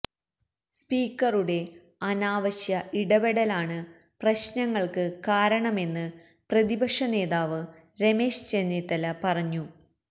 സ്പീക്കറുടെ അനാവശ്യ ഇടപെടലാണ് പ്രശ്നങ്ങള്ക്ക് കാരണമെന്ന് പ്രതിപക്ഷനേതാവ് രമേശ് ചെന്നിത്തല പറഞ്ഞു